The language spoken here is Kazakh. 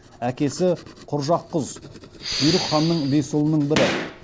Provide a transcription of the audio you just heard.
әкесі құржақұз бұйрық ханның бес ұлының бірі